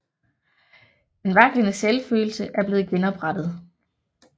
Den vaklende selvfølelse er blevet genoprettet